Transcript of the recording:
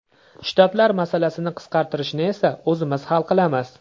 Shtatlar masalasini qisqartirishni esa o‘zimiz hal qilamiz.